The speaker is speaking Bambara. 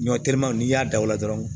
Ɲɔ terima n'i y'a da o la dɔrɔn